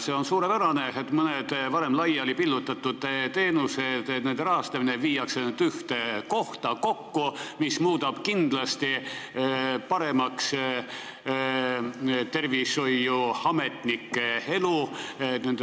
See on suurepärane, et mõnede laialipillutatud teenuste rahastamine viiakse nüüd ühte kohta kokku, mis muudab tervishoiuametnike elu kindlasti paremaks.